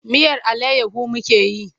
Miyar allayyahu muke yi.